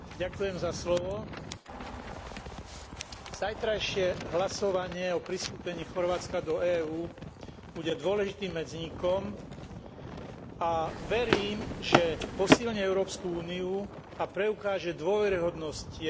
Zajtrajšie hlasovanie o pristúpení Chorvátska do EÚ bude dôležitým medzníkom a verím, že posilní Európsku úniu a preukáže dôveryhodnosť jej politiky rozširovania a záväzky voči Balkánu.